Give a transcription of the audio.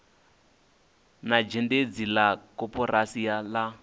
na zhendedzi la koporasi la